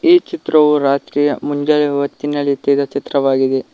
ಈ ಚಿತ್ರವು ರಾತ್ರಿಯ ಮುಂಜಾವೆ ಹೊತ್ತಿನಲ್ಲಿ ತೆಗೆದ ಚಿತ್ರವಾಗಿದೆ.